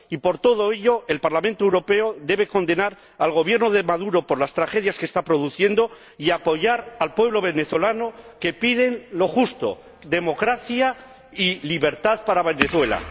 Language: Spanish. Y, por todo ello, el Parlamento Europeo debe condenar al Gobierno de Maduro por las tragedias que está produciendo y apoyar al pueblo venezolano que pide lo justo democracia y libertad para Venezuela.